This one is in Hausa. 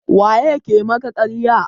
waye ya ke maka ƙarya?